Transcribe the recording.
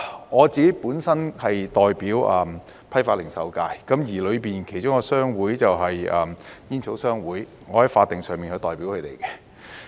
我本身是代表批發及零售界，而當中一個商會就是煙草商會，我在法定上是代表他們的。